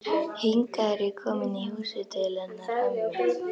Hingað er ég komin í húsið til hennar ömmu.